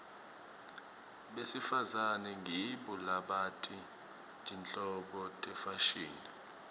besifazane ngibo labati tinhlobo tefashini